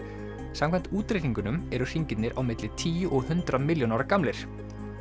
samkvæmt útreikningunum eru hringirnir á milli tíu og hundrað milljón ára gamlir